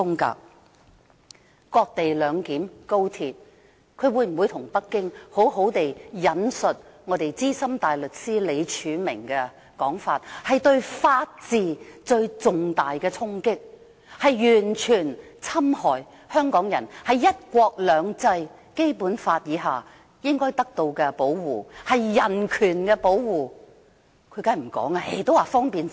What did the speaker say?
高鐵的"割地兩檢"，她會否向北京好好地引述我們資深大律師李柱銘的說法，這是對法治的重大衝擊，完全侵害香港人在"一國兩制"和《基本法》下應得的保護——是對人權的保護。